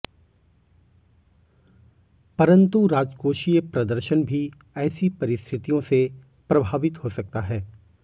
परंतु राजकोषीय प्रदर्शन भी ऐसी परिस्थितियों से प्रभावित हो सकता है